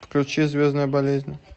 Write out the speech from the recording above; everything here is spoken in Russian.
включи звездная болезнь